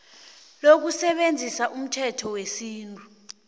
lokusebenzisa umthetho wesintu